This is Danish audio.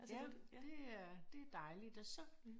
Ja det er det dejligt og så